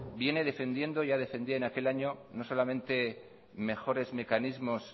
viene defendiendo y ya defendía en aquel año no solamente mejores mecanismos